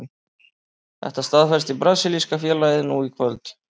Þetta staðfesti brasilíska félagið nú í kvöld.